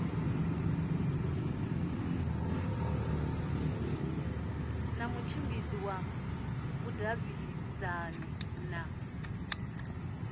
na mutshimbidzi wa vhudavhidzani na